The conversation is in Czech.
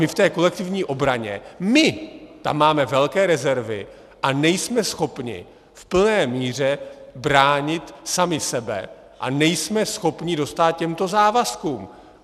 My v té kolektivní obraně, my tam máme velké rezervy a nejsme schopni v plné míře bránit sami sebe a nejsme schopni dostát těmto závazkům.